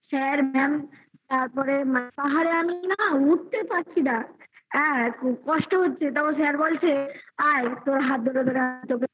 sir ma'am তারপরে পাহাড়ে আমি না উঠতে পারছি না কষ্ট হচ্ছে তখন sir বলছে আয় তোর হাত ধরে তোরা তোকে